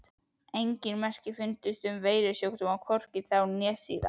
ENGIN merki fundust um veirusjúkdóma, hvorki þá né síðar!